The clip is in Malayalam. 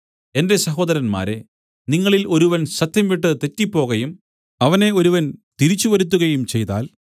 എന്റെ സഹോദരന്മാരേ നിങ്ങളിൽ ഒരുവൻ സത്യംവിട്ട് തെറ്റിപ്പോകയും അവനെ ഒരുവൻ തിരിച്ചുവരുത്തുകയും ചെയ്താൽ